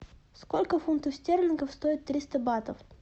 сколько фунтов стерлингов стоит триста батов